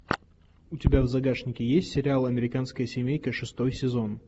у тебя в загашнике есть сериал американская семейка шестой сезон